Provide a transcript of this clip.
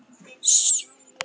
Sem hún gerði.